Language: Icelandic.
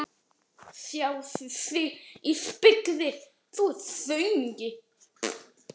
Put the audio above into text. Aðalreglan er að vera duglegur í skólanum og kurteis við kennarana.